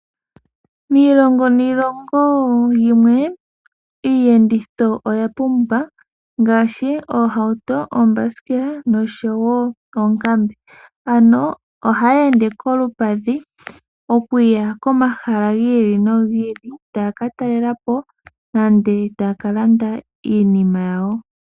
Miilongo niilongo yimwe, iiyenditho oyapumba ngaashi oohauto, oombasikela noshowo oonkambe. Ano ohaya ende kolupadhi okuya komahala giili nogiili tayaka talelapo nenge taya kalanda iinima yawo.